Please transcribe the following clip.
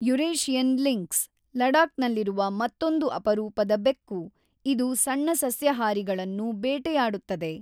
Eurasian lynx ಲಡಾಕ್‌ನಲ್ಲಿರುವ ಮತ್ತೊಂದು ಅಪರೂಪದ ಬೆಕ್ಕು, ಇದು ಸಣ್ಣ ಸಸ್ಯಹಾರಿಗಳನ್ನು ಬೇಟೆಯಾಡುತ್ತದೆ.